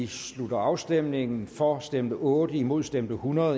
slutter afstemningen for stemte otte imod stemte hundrede